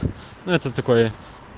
ну это такое